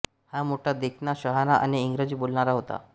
हा मोठा देखणा शहाणा आणि इंग्रजी बोलणारा होता